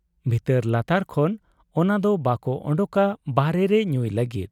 ᱵᱷᱤᱛᱟᱹᱨ ᱞᱟᱛᱟᱨ ᱠᱷᱚᱱ ᱚᱱᱟᱫᱚ ᱵᱟᱠᱚ ᱚᱰᱚᱠᱟ ᱵᱟᱦᱨᱮ ᱨᱮ ᱧᱩᱭ ᱞᱟᱹᱜᱤᱫ ᱾